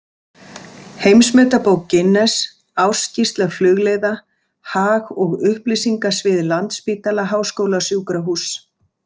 Heimsmetabók Guinness Ársskýrsla Flugleiða Hag- og upplýsingasvið Landspítala- háskólasjúkrahúss.